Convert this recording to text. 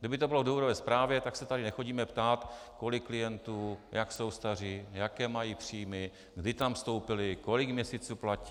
Kdyby to bylo v důvodové zprávě, tak se tady nechodíme ptát, kolik klientů, jak jsou staří, jaké mají příjmy, kdy tam vstoupili, kolik měsíců platí.